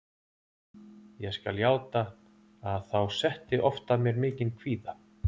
Ég skal játa að þá setti oft að mér mikinn kvíða.